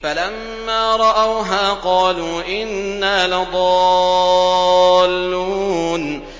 فَلَمَّا رَأَوْهَا قَالُوا إِنَّا لَضَالُّونَ